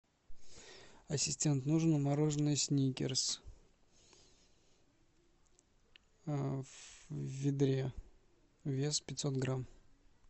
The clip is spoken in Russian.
ассистент нужно мороженное сникерс в ведре вес пятьсот грамм